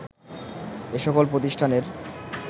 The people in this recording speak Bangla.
এ সকল প্রতিষ্ঠানের